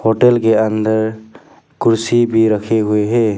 Hotel के अंदर कुर्सी भी रखी हुई है।